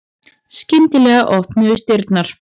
Skyndilega opnuðust dyrnar.